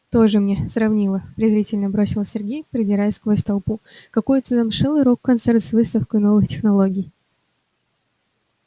тоже мне сравнила презрительно бросил сергей продираясь сквозь толпу какой-то замшелый рок-концерт с выставкой новых технологий